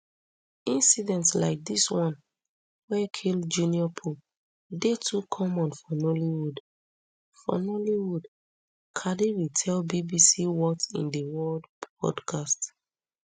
incidents like dis one wey kill junior pope dey too common for nollywood for nollywood kadiri tell bbc what in di worldpodcast